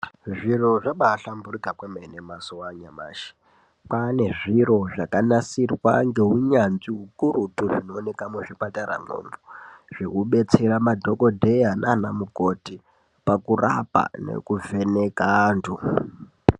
Zviro zvabahlamburuka kwemene mazuva anyamashi kwane zviro zvakanasirwa neunyanzvi ukurutu zvinoonekwa kuzvipatarayo zvekudetsera madhokodheya nana mukoti pakurapa nekuvheneka antu.